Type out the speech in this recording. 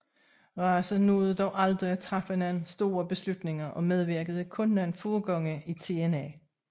Race nåede dog aldrig at træffe nogen store beslutninger og medvirkede kun nogle få gange i TNA